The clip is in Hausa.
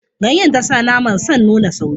Ganyen ta sa naman san nuna sauri.